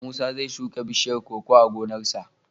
Musa zai shuka bishiyar koko a gonarsa.